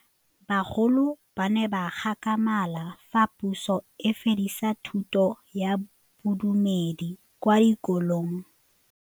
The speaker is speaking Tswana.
Bagolo ba ne ba gakgamala fa Pusô e fedisa thutô ya Bodumedi kwa dikolong.